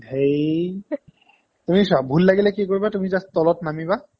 ধেই তুমি চোৱা ভূল লাগিলে কি কৰিবা তুমি just তলত নামিবা